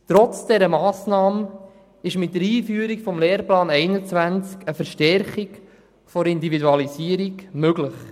Trotz dieser Massnahme ist mit dem Lehrplan 21 eine Verstärkung der Individualisierung möglich.